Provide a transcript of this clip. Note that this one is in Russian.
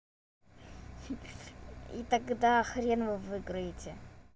и тогда хрен вы выйграете